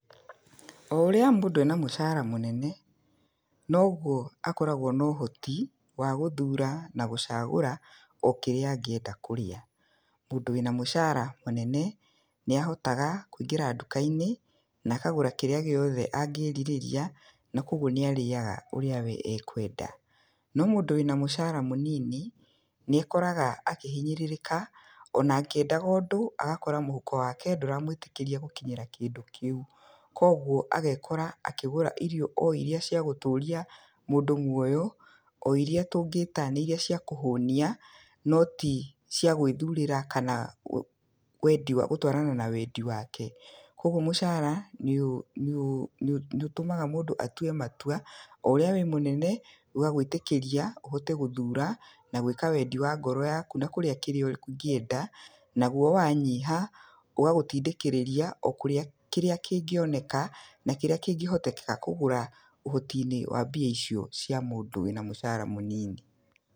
O ũrĩa mũndũ ena mũcara mũnene, noguo akoragwo na ũhoti wa gũthura na gũcagũra o kĩrĩa angĩenda kũrĩa. Mũndũ wĩ na mũcara mũnene nĩahotaga kũingĩra nduka-inĩ na akagũra kĩrĩa gĩothe angĩrirĩrira, na koguo nĩarĩaga ũrĩa we akwenda. No mũndũ wĩ na mũcara mũnini, nĩekoraga akĩhinyĩrĩrĩka, ona akĩendaga ũndũ agakora mũhuko wake ndũramwĩtĩkĩria gũkinyĩra kĩndũ kĩu. Koguo agekora akĩgũra irio o iria cia gũtũria mũndũ muoyo, o iria tũngĩta nĩ iria cia kũhũnia, no ti cia gwĩthurĩra kana wendi, gũtwarana na wendi wake. Koguo mũcara nĩũtũmaga mũndũ atue matua, o ũrĩa wĩ mũnene ũgagwĩtĩkĩria ũhote gũthura na gwĩka wendi wa ngoro yaku na kũrĩa kĩrĩa ũngĩenda. Naguo wanyiha ũgagũtindĩkĩrĩria o kũrĩa kĩrĩa kĩngĩoneka na kĩrĩa kĩngĩhotekeka kũgũra, ũhoti-inĩ wa mbia icio cia mũndũ wĩ na mũcara mũnini.